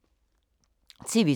TV 2